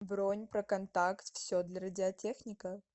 бронь проконтакт все для радиотехника